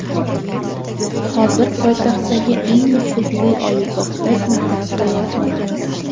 Hozir poytaxtdagi eng nufuzli oliygohda mehnat qilayapman.